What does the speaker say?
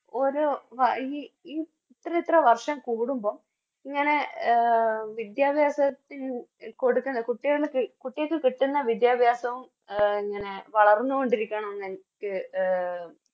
ഓരോ വ ഈ ഈ ഇത്രയിത്ര വർഷം കൂടുമ്പോൾ ഇങ്ങനെ എ വിദ്യാഭ്യാസത്തിൽ കുട്ടികൾക്ക് കൊടുക്കുന്ന കുട്ടികൾക്ക് കിട്ടുന്ന വിദ്യാഭ്യാസവും ഇങ്ങനെ വളർന്നോണ്ടിരിക്കണന്നെനിക് എ